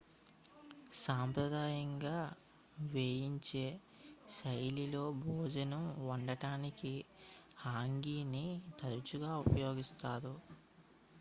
సాంప్రదాయంగా వేయించే శైలిలో భోజనం వండటానికి హంగీని తరచుగా ఉపయోగిస్తారు